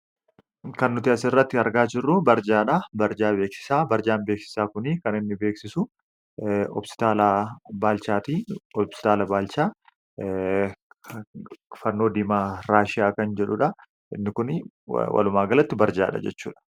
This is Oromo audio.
Kan nuti as irratti argaa jirruu barjaadhaa. Barjaa beeksisaa barjaan beeksisaa kunii kan inni beeksisu hospitaala baalchaatii. Hospitaala baalchaa fannoo diimaa raashiyaa kan jedhudha. Inni kunii walumaagalatti barjaadha jechuudha.